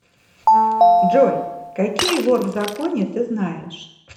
джой какие вор в законе ты знаешь